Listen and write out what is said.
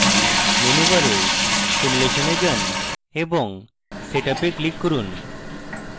menu bar simulation এ যান এবং setup এ click করুন